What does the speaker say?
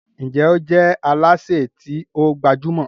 Njé o je Alásè ti o gbajúmò?